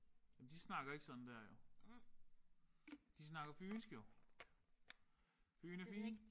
Men de snakker ikke sådan der jo. De snakker fynsk jo. Fyn er fin